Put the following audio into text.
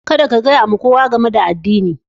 Kada ka gaya wa kowa game da addinin!